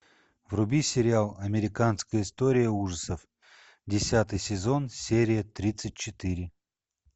вруби сериал американская история ужасов десятый сезон серия тридцать четыре